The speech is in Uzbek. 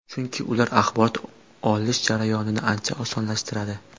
Chunki ular axborot olish jarayonini ancha osonlashtiradi.